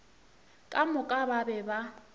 ka moka ba be ba